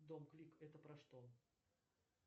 дом клик это про что